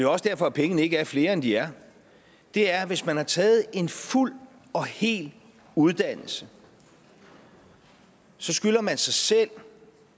også derfor at pengene ikke er flere end de er er at hvis man har taget en fuld og hel uddannelse så skylder man sig selv